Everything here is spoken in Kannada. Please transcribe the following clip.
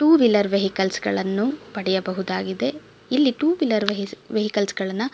ಟೂ ವೀಲರ್ ವೆಹಿಕಲ್ಸ್ ಗಳನ್ನು ಪಡೆಯಬಹುದಾಗಿದೆ ಇಲ್ಲಿ ಟೂ ವೀಲರ್ ವೆಹಿಕಲ್ಸ್ ಗಳನ್ನ.